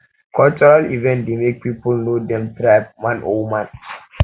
cultural event dey make people know dem tribe man or woman